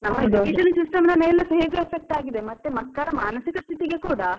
Education system ಮೇಲೆ ಹೇಗೆ effect ಆಗಿದೆ ಮತ್ತೆ ಮಕ್ಕಳ ಮಾನಸಿಕ ಸ್ಥಿತಿಗೆ ಕೂಡ.